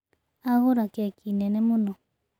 Agũra keki nene mũno.